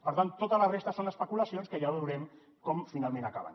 per tant tota la resta són especulacions que ja veurem com finalment acaben